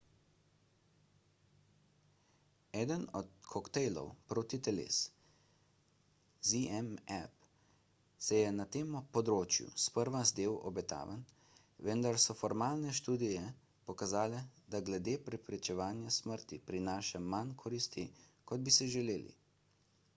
eden od koktejlov protiteles zmapp se je na tem področju sprva zdel obetaven vendar so formalne študije pokazale da glede preprečevanja smrti prinaša manj koristi kot bi si želeli